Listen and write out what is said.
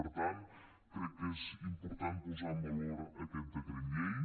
per tant crec que és important posar en valor aquest decret llei